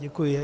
Děkuji.